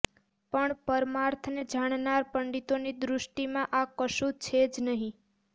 પણ પરમાર્થને જાણનાર પંડિતોની દૃષ્ટિમાં આ કશું છે જ નહિ